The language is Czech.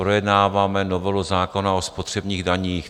Projednáváme novelu zákona o spotřebních daních.